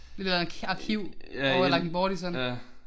Et eller andet arkiv over i Langtbortistan